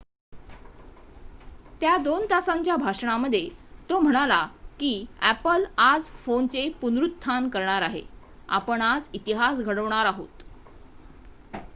"त्याच्या दोन तासांच्या भाषणामध्ये तो म्हणाला की "अॅपल आज फोनचे पुनरुत्थान करणार आहे आपण आज इतिहास घडवणार आहोत.""